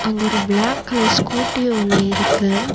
அங்கொரு black colour scooty ஒன்னிருக்கு.